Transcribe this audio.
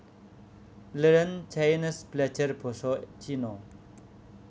Learn Chinese Belajar basa Cina